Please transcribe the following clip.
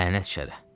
Lənət şərə.